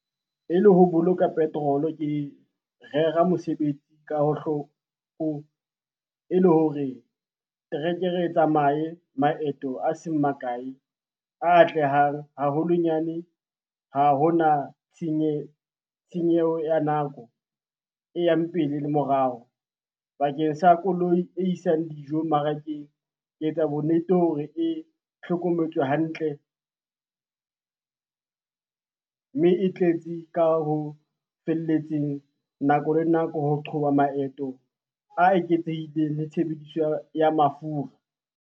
E le ho boloka petrol-o, ke rera mosebetsi ka , e le hore trekere e tsamaye maeto a seng makae a atlehang haholonyane ha ho na tshenyeho ya nako e yang pele le morao. Bakeng sa koloi e isang dijo mmarakeng, ke etsa bonnete hore e hlokometswe hantle, mme e tletse ka ho felletseng nako le nako ho qhoba maeto a eketsehileng le tshebediso ya mafura.